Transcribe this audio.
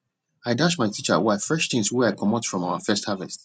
i dash my teacher wife fresh things wey i comot from our first harvest